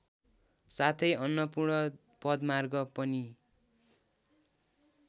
साथै अन्नपूर्ण पदमार्ग पनि